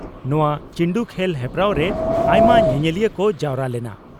ᱱᱚᱣᱟ ᱪᱤᱱᱰᱩ ᱠᱷᱮᱞ ᱦᱮᱯᱨᱟᱣ ᱨᱮ ᱟᱭᱢᱟ ᱧᱮᱧᱮᱞᱤᱭᱟᱹ ᱠᱚ ᱡᱟᱣᱨᱟ ᱞᱮᱱᱟ ᱾